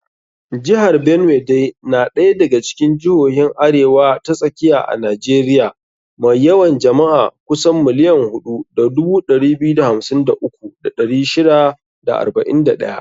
Jihar Benue dai na daya daga cikin jihohin Arewa ta Tsakiya a Najeriya mai yawan jama'a kusan 4,253,641.